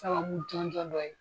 Sababu jɔnjɔn dɔ ye.